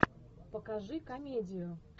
покажи комедию